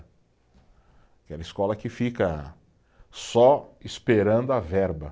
Aquela escola que fica só esperando a verba.